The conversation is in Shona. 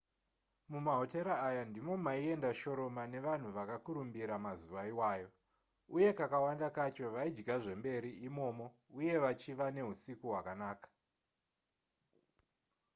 mumahotera aya ndimo maienda shoroma nevanhu vakakurumbira mazuva iwayo uye kakawanda kacho vaidya zvemberi imomo uye vachiva neusiku hwakanaka